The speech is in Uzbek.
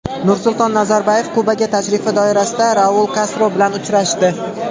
Nursulton Nazarboyev Kubaga tashrifi doirasida Raul Kastro bilan uchrashdi.